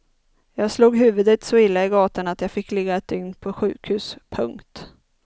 Jag slog huvudet så illa i gatan att jag fick ligga ett dygn på sjukhus. punkt